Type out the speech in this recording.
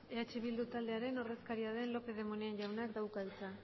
eh bildu taldearen ordezkaria den lópez de munain jaunak dauka hitza